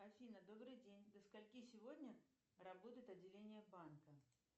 афина добрый день до скольки сегодня работает отделение банка